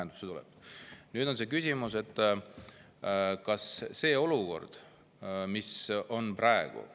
Nüüd on küsimus selles olukorras, mis praegu on.